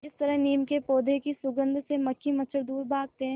जिस तरह नीम के पौधे की सुगंध से मक्खी मच्छर दूर भागते हैं